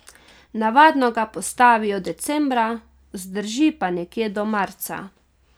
Navadno ga postavijo decembra, zdrži pa nekje do marca.